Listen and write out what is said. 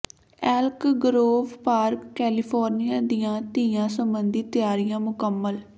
ਐਲਕ Grove Park California ਦੀਆਂ ਤੀਆਂ ਸਬੰਧੀ ਤਿਆਰੀਆਂ ਮੁਕੰਮਲ